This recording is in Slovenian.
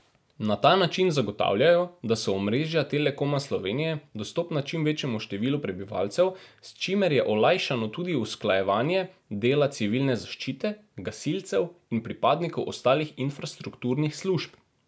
Na ta način zagotavljajo, da so omrežja Telekoma Slovenije dostopna čim večjemu številu prebivalcev, s čimer je olajšano tudi usklajevanje dela civilne zaščite, gasilcev in pripadnikov ostalih infrastrukturnih služb.